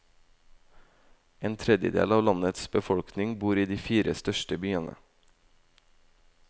En tredjedel av landets befolkning bor i de fire største byene.